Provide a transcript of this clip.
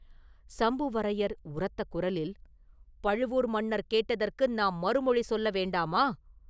சம்புவரையர் உரத்த குரலில், ” பழுவூர் மன்னர் கேட்டதற்கு நாம் மறுமொழி சொல்ல வேண்டாமா?